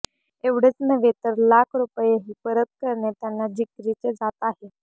एवढेच नव्हे तर लाख रुपयेही परत करणे त्यांना जिकरीचे जात आहे